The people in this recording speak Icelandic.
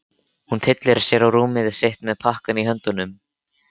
Hún tyllir sér á rúmið sitt með pakkann í höndunum.